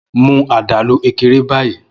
Mu adalu Ekere bayi!